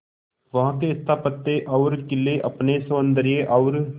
वहां के स्थापत्य और किले अपने सौंदर्य और